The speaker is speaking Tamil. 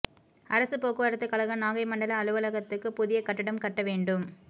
அரசுப் போக்குவரத்து கழக நாகை மண்டல அலுவலகத்துக்கு புதிய கட்டடம் கட்ட வேண்டும்